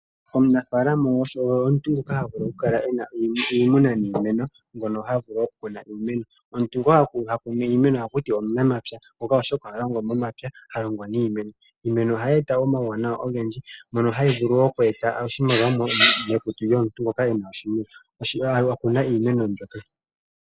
Omunafaalama oye omuntu ngoka havulu okukala ena iimuna niimeno ngono havulu okukuna iimeno. Omuntu ngoka hakunu iimeno ohakutiwa omunamapya oshoka ohalongo momapya halongo niimeno. Iimeno ohayi eta omawuwanawa ogendji mono hayi vulu oku eta oshimaliwa komuntu ena oshimeno ano akuna iimeno mbyoka